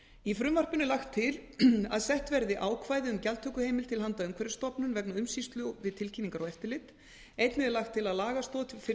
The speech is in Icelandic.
í frumvarpinu er lagt til að sett verði ákvæði um gjaldtökuheimild til handa umhverfisstofnun vegna umsýslu við tilkynningar og eftirlit einnig er lagt til að lagastoð fyrir